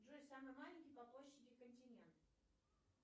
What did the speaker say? джой самый маленький по площади континент